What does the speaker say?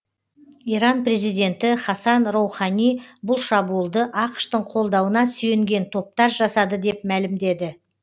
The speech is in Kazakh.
иран президенті хасан роухани бұл шабуылды ақш тың қолдауына сүйенген топтар жасады деп мәлімдеді